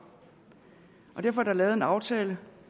derfor er der lavet en aftale